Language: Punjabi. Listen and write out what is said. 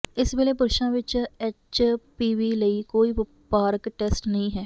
ਇਸ ਵੇਲੇ ਪੁਰਸ਼ਾਂ ਵਿਚ ਐਚਪੀਵੀ ਲਈ ਕੋਈ ਵਪਾਰਕ ਟੈਸਟ ਨਹੀਂ ਹੈ